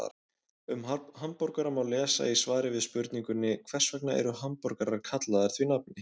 Um hamborgara má lesa í svari við spurningunni Hvers vegna eru hamborgarar kallaðir því nafni?